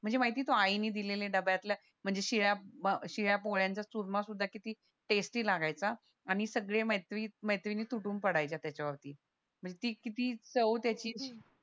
म्हणजे माहिती आई दिलेले डब्यातला म्हणजे शिळ्या अह पोळ्याचा चुरमा सुद्धा किती टेस्टीं लागायचा आणि सगळे मैत्री मैत्रिणी तुटून पडायच्या त्याच्या वरती म्हणजे ती किती चव त्याची